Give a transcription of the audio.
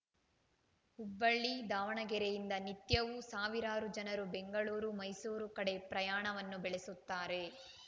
ಹುಬ್ಬಳ್ಳಿ ದಾವಣಗೆರೆಯಿಂದ ನಿತ್ಯವೂ ಸಾವಿರಾರು ಜನರು ಬೆಂಗಳೂರು ಮೈಸೂರು ಕಡೆ ಪ್ರಯಾಣವನ್ನು ಬೆಳೆಸುತ್ತಾರೆ